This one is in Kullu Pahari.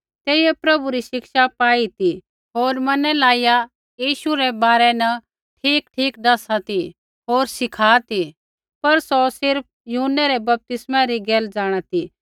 तेइयै प्रभु री शिक्षा पाई ती होर मन लाइया यीशु रै बारै न ठीकठीक दैसा ती होर सिखा ती पर सौ सिर्फ़ यूहन्नै रै बपतिस्मै री गैल जाँणा ती